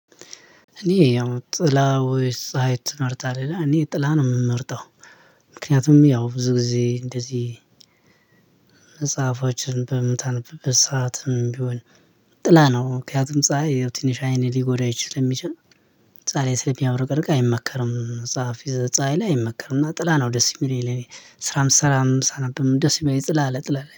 እኔ ያው ጥላ ወይስ ፀሀይ ትመርጣለህ? እኔ ጥላ ነው የምመርጠው። ምክንያቱም ያው ብዙ ጊዜ እንደዚህ መጽሐፎችን በምታነብበት ሰዓትም ቢሆን ጥላ ነው። ምክንያቱም ፀሀይ ያው ትንሽ አይን ሊጎዳ ይችል ስለሚችል ፀሀይ ስለሚያብረቅርቅ አይመከርም። ፀሀፊ ፀሀይ ላይ አይመከርም እና ጥላ ነው ደስ የሚለኝ። ስራም ሰራም ሳነብም ደስ የሚለኝ ጥላ አለ ጥላ